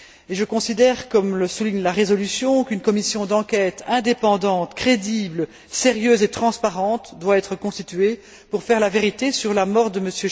Je considère, comme le souligne la résolution, qu'une commission d'enquête indépendante, crédible, sérieuse et transparente doit être constituée pour faire la vérité sur la mort de M.